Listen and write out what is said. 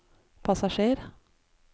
passasjer